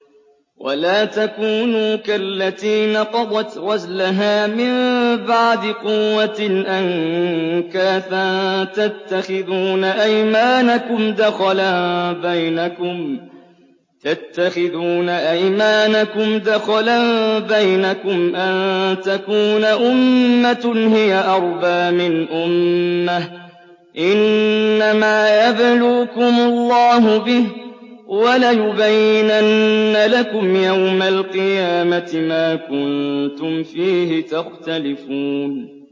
وَلَا تَكُونُوا كَالَّتِي نَقَضَتْ غَزْلَهَا مِن بَعْدِ قُوَّةٍ أَنكَاثًا تَتَّخِذُونَ أَيْمَانَكُمْ دَخَلًا بَيْنَكُمْ أَن تَكُونَ أُمَّةٌ هِيَ أَرْبَىٰ مِنْ أُمَّةٍ ۚ إِنَّمَا يَبْلُوكُمُ اللَّهُ بِهِ ۚ وَلَيُبَيِّنَنَّ لَكُمْ يَوْمَ الْقِيَامَةِ مَا كُنتُمْ فِيهِ تَخْتَلِفُونَ